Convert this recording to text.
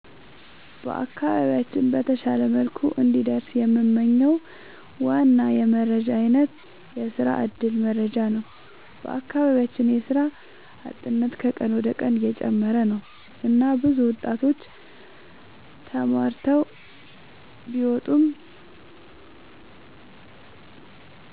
በአካባቢያችን በተሻለ መልኩ እንዲደርስ የምንመኝው ዋና የመረጃ አይነት የስራ እድል መረጃ ነው። በአካባቢያችን የስራ አጥነት ከቀን ወደ ቀን እየጨመረ ነው እና ብዙ ወጣቶች ተማርተው ቢወጡም